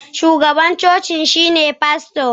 shugaban cocin shine fasto